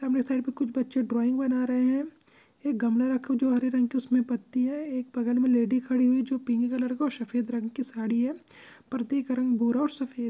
सामने साइड में कुछ बच्चे ड्राइंग बना रहे हैं एक गमला रखा है जो हरे रंग का उसमें पत्ती है एक बगल में लेडी खड़ी हुई जो पिंक कलर सफेद रंग की साड़ी है पर्दे का रंग भू--